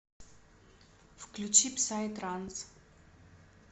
включи псай транс